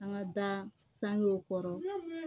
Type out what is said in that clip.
An ka da sangew kɔrɔ